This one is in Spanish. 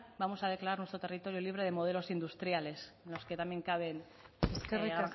vamos a declarar nuestro territorio libre de modelos industriales en los que también cabe granjas más pequeñas gracias eskerrik